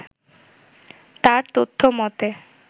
তার তথ্য মতে